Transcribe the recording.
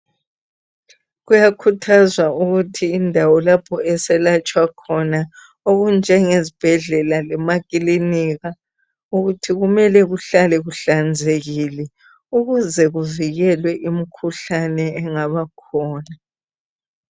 kuyakhuthazwa ukuthi indawo lapho esalatshwa khona okunjenge zibhedlela lemakilinika ukuthi kumele kuhlale kuhlanzekile ukuze kuvukelwe imikhuhlane engaba khona